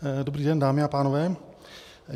Dobrý den, dámy a pánové.